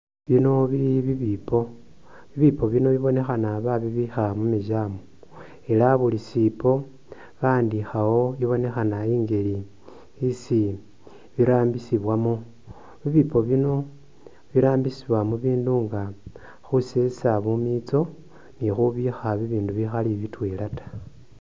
Bino bili bibipo bibipo bibonekhana babibikha mu museum ela buli shipo bakhandikhawo ibonekhana injeli isi birambisiwamo, bibipo bino birambisiwa mubindu nga khusesa bumitso ni khubikha bibindu bikhali bitwela ta.